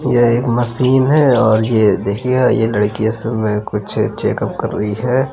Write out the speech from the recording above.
यह एक मशीन है और ये देखिए ये लड़की इसमें कुछ चेकउप कर रही है।